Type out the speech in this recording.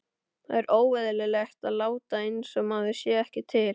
Það er óeðlilegt að láta einsog maður sé ekki til.